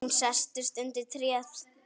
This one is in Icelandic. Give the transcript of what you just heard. Hún sest undir tréð.